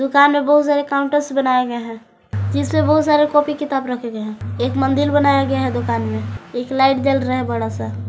दुकान में बहुत सारे काउंटर्स बनाए गए हैं जिसमें बहुत सारे कॉपी किताब रखे गए हैं एक मंदिर बनाया गया है दुकान में एक लाइट जल रहा है बड़ा सा।